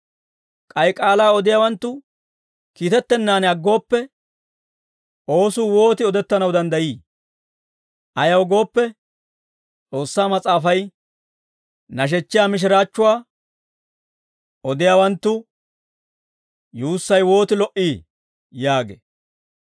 K'ay k'aalaa odiyaawanttu kiitettennan aggooppe, oosuu wooti odettanaw danddayii? Ayaw gooppe, S'oossaa Mas'aafay, «Nashechchiyaa mishiraachchuwaa odiyaawanttu yuussay wooti lo"ii!» yaagee.